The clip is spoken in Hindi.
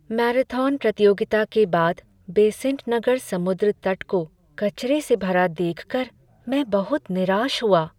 मैराथन प्रतियोगिता के बाद बेसेंट नगर समुद्र तट को कचरे से भरा देखकर मैं बहुत निराश हुआ।